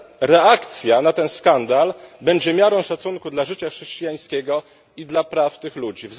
Reakcja na ten skandal będzie miarą szacunku dla życia chrześcijańskiego i dla praw tych ludzi.